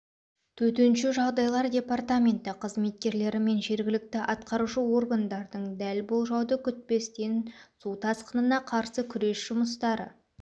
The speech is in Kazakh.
төтенше жағдайлар департаменті қызметкерлері мен жергілікті атқарушы органдардың дәл болжауды күтпестен су тасқынына қарсы күрес жұмыстары